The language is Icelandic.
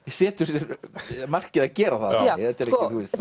setur sér markið að gera það þetta er